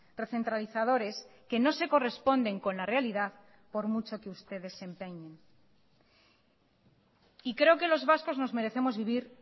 recentralizadores que no se corresponden con la realidad por mucho que ustedes se empeñen y creo que los vascos nos merecemos vivir